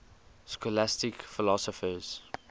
scholastic philosophers